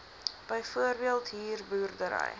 byvoorbeeld huur boerdery